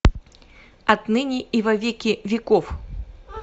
отныне и во веки веков